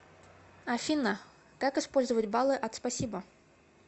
афина как использовать баллы от спасибо